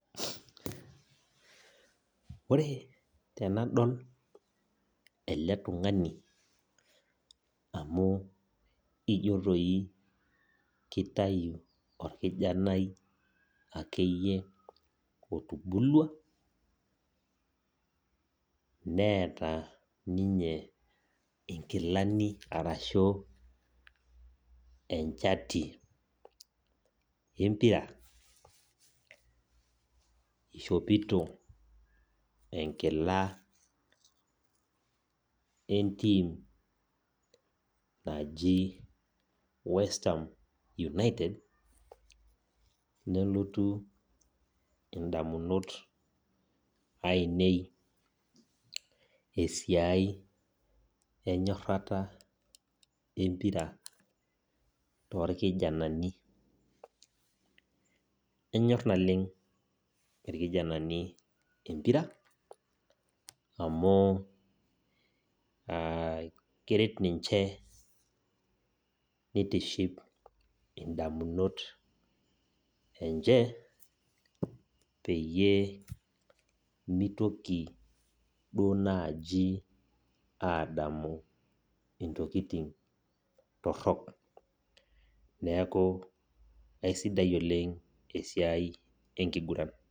Ore tenadol ele tungani amuu ijio doi ketayu orbarnoti otubulua neeta ninye enkishopo empira. Eishopito enkira enteam naji Westham United. Nelotu ndamunot ainei esiai enyorrata empira toorkijanai. Nesipa enyorr naleng irkijanani empira amuukeret ninche neitiship indamut enye peyie meitoki aadamu intokin torrok. Esidai oleng esia enkiguran